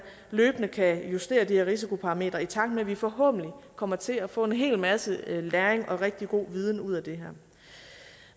løbende kan justere de her risikoparametre i takt med at vi forhåbentlig kommer til at få en hel masse læring og rigtig god viden ud af det her